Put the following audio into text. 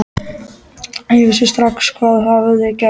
Ég vissi strax hvað hafði gerst.